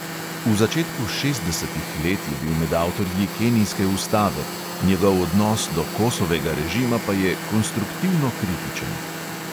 V začetku šestdesetih let je bil med avtorji kenijske ustave, njegov odnos do kosovega režima pa je "konstruktivno kritičen".